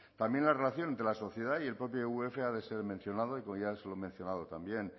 también la relación entre la sociedad y el propio vf ha de ser mencionado y como ya se lo he mencionado también